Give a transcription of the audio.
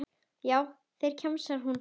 Já, þeir, kjamsar hún.